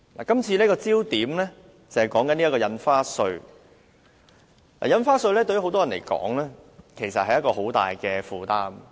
今次討論的焦點是印花稅。對不少人來說，印花稅其實是很大的負擔。